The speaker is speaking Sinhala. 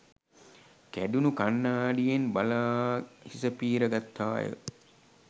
කැඩුණු කණ්ණාඩියෙන් බලා හිස පීර ගත්තාය